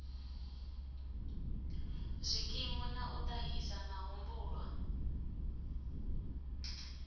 zwikimu na u ṱahisa mahumbulwa